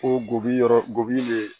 Ko gofi yɔrɔ goy